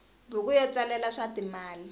buku yo tsalela swa timali